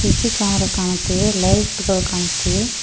C C camera ಕಾಣುತ್ತಿವೆ light ಗಳು ಕಾಣುತ್ತಿವೆ.